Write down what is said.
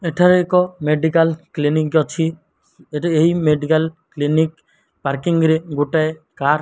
ଏଠାରେ ଏକ medical clinic ଅଛି। ଏଠି ଏହି ମେଡ଼ିକାଲ କ୍ଲିନିକ୍ ପାର୍କିଂ ରେ ଗୋଟାଏ କାର --